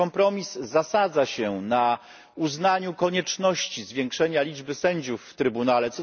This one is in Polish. Ten kompromis zasadza się na uznaniu konieczności zwiększenia liczby sędziów w Trybunale.